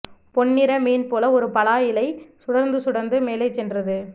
பொன்னிற மீன் போல ஒரு பலா இலை சுடர்ந்து சுடர்ந்து மேலே சென்றது